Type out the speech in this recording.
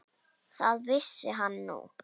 Það vissi hann núna.